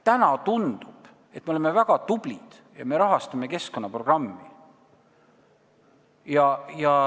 Täna tundub, et me oleme väga tublid ja me rahastame keskkonnaprogrammi.